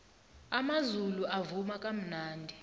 amazulu avuma kamnandi